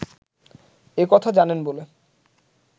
এ কথা জানেন বলে